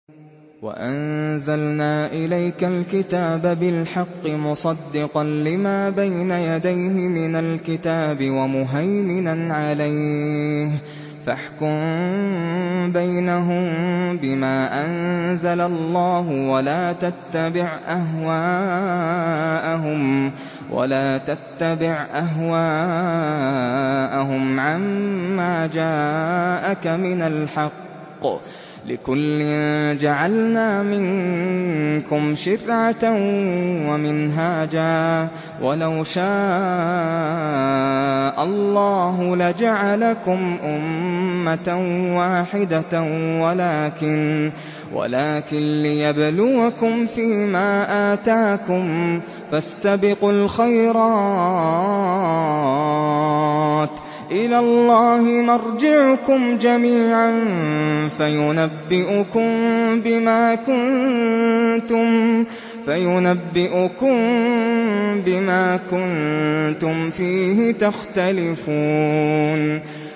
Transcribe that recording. وَأَنزَلْنَا إِلَيْكَ الْكِتَابَ بِالْحَقِّ مُصَدِّقًا لِّمَا بَيْنَ يَدَيْهِ مِنَ الْكِتَابِ وَمُهَيْمِنًا عَلَيْهِ ۖ فَاحْكُم بَيْنَهُم بِمَا أَنزَلَ اللَّهُ ۖ وَلَا تَتَّبِعْ أَهْوَاءَهُمْ عَمَّا جَاءَكَ مِنَ الْحَقِّ ۚ لِكُلٍّ جَعَلْنَا مِنكُمْ شِرْعَةً وَمِنْهَاجًا ۚ وَلَوْ شَاءَ اللَّهُ لَجَعَلَكُمْ أُمَّةً وَاحِدَةً وَلَٰكِن لِّيَبْلُوَكُمْ فِي مَا آتَاكُمْ ۖ فَاسْتَبِقُوا الْخَيْرَاتِ ۚ إِلَى اللَّهِ مَرْجِعُكُمْ جَمِيعًا فَيُنَبِّئُكُم بِمَا كُنتُمْ فِيهِ تَخْتَلِفُونَ